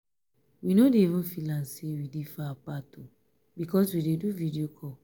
we no dey even feel am sey we dey far apart because we dey do video call.